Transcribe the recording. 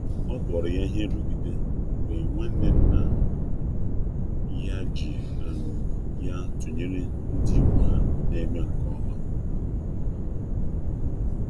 ọbụrụ ya ihe nrugide mgbe nwanne nna ya ji ya tụnyere ndị ikwu ha ikwu ha na-eme nke ọma.